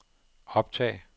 optag